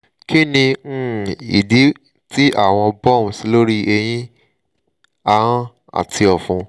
kini um idi ti awọn bumps lori ẹhin ahọn ati ọfun?